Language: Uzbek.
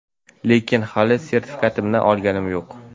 lekin hali sertifikatimni olganim yo‘q.